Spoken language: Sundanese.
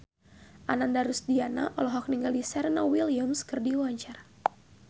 Ananda Rusdiana olohok ningali Serena Williams keur diwawancara